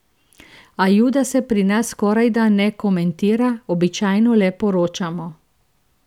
A juda se pri nas skorajda ne komentira, običajno le poročamo.